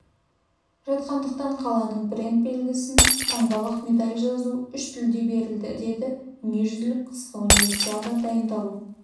жатқандықтан қаланың бренд белгісін таңбаладық медаль жазуы үш тілде берілді деді дүниежүзілік қысқы универсиадаға дайындалу